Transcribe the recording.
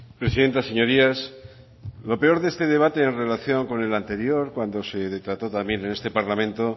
presidenta señorías lo peor de este debate en relación con el anterior cuando se trató también en este parlamento